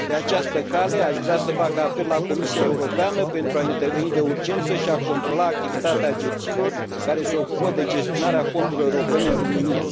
Pe această cale, aș vrea să fac apel la Comisia Europeană, pentru a interveni de urgență și a controla activitatea agențiilor care se ocupă de gestionarea fondurilor europene în România.